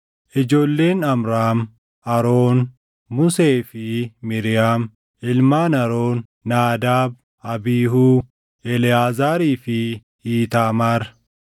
Ijoolleen Amraam: Aroon, Musee fi Miiriyaam. Ilmaan Aroon: Naadaab, Abiihuu, Eleʼaazaarii fi Iitaamaar.